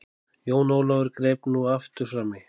Jón Ólafur greip nú aftur framí.